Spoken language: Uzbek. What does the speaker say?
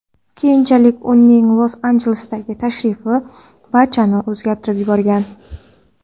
Keyinchalik uning Los-Anjelesga tashrifi barchasini o‘zgartirib yuborgan.